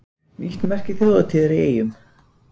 Nýtt merki þjóðhátíðar í Eyjum